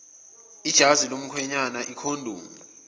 ijazi lomkhwenyana ikhondomu